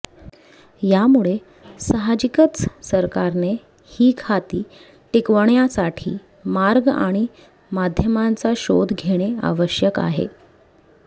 यामुळे साहजिकच सरकारने ही खाती टिकवण्यासाठी मार्ग आणि माध्यमांचा शोध घेणे आवश्यक आहे